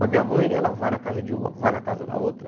Mas minha mãe, ela vai na casa de uma, vai na casa da outra.